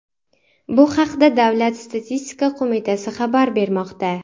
Bu haqda Davlat statistika qo‘mitasi xabar bermoqda.